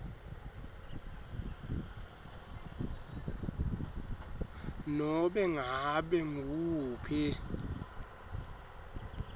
nobe ngabe nguwuphi